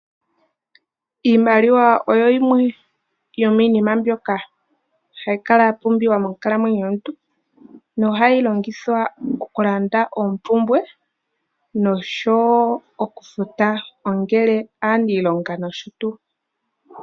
Iimaliwa oyo yimwe yomiinima mbyoka hayi kala ya pumbiwa monkalamwenyo yomuntu nohayi longithwa okulanda oompumbwe noshowo okufuta ongele aaniilonga nosho tuu.